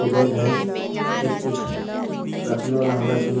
दो बेड है एक कुछ रखने वाला होगा सामान.